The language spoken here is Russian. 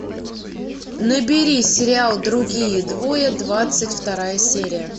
набери сериал другие двое двадцать вторая серия